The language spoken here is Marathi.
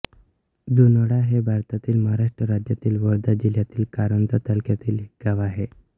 जुनोणा हे भारतातील महाराष्ट्र राज्यातील वर्धा जिल्ह्यातील कारंजा तालुक्यातील एक गाव आहे